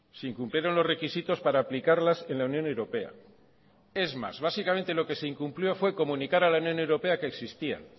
se incumplieron los requisitos para aplicarlas en la unión europea es más básicamente lo que se incumplió fue comunicar a la unión europea que existían